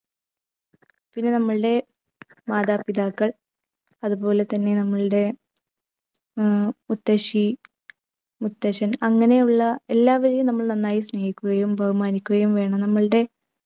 പിന്നെ നമ്മളുടെ മാതാപിതാക്കൾ അതുപോലെതന്നെ നമ്മളുടെ ഉം മുത്തശ്ശി മുത്തച്ഛൻ അങ്ങനെയുള്ള എല്ലാവരെയും നമ്മൾ സ്നേഹിക്കുകയും ബഹുമാനിക്കുകയും വേണം നമ്മളുടെ